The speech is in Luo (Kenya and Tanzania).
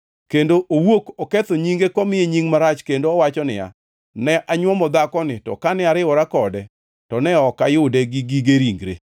kendo owuok oketho nyinge komiye nying marach kendo owacho niya, “Ne anywomo dhakoni to kane ariwora kode to ne ok ayude gi gige ringre.”